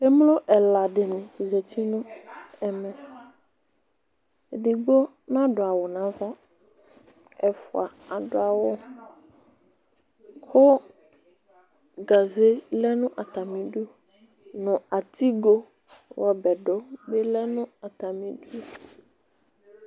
Emlo ɛla di ni zeti nu ɛmɛ Edigbo n'adu awu n'aʋa, ɛfua adu awu ku gaze lɛ nu atami du, nu atigo ɣ'ɔbɛ du bi lɛ nu atami 'du